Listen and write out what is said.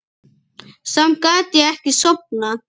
Samt gat ég ekki sofnað.